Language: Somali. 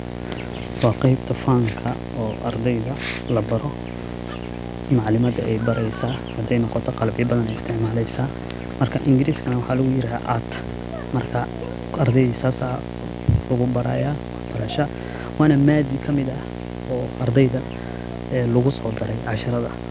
Wa qeybta fanka oo ardeyda labaro oo macalimada ey bareysa hadey rabto qalabyo badan ayey isticmaleysa marka ingiriska waxa luguyirahda art marka ardeyda sida aya lugubaraya wana maadi kamid ah ardeyda lugusodare wax barashada.